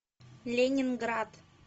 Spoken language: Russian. ленинград